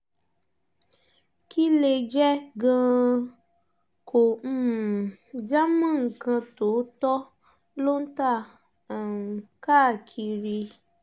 kí lè jẹ́ gan-an kò um já mọ́ nǹkan tótọ́ ló ń ta um káàkiri